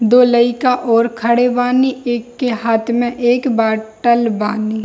दो लयका और खड़े बानी एक के हाथ में एक बाटल बानी।